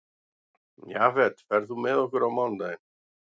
Jafet, ferð þú með okkur á mánudaginn?